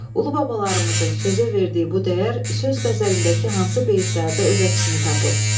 Ulu babalarımızın sözə verdiyi bu dəyər söz qəzəlindəki hansı beytlərdə öz əksini tapıb?